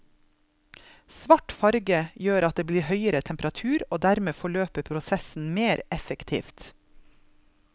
Svart farge gjør at det blir høyere temperatur og dermed forløper prosessen mere effektivt.